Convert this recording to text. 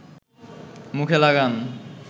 মুখে লাগান